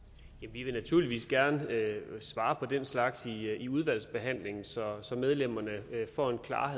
vi vil naturligvis gerne svare på den slags i udvalgsbehandlingen så medlemmerne får en klarhed